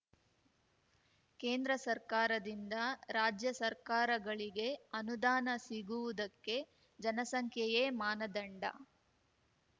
ಕೇಂದ್ರ ಸರ್ಕಾರದಿಂದ ರಾಜ್ಯ ಸರ್ಕಾರಗಳಿಗೆ ಅನುದಾನ ಸಿಗುವುದಕ್ಕೆ ಜನಸಂಖ್ಯೆಯೇ ಮಾನದಂಡ